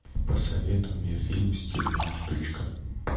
посоветуй мне фильм стильная штучка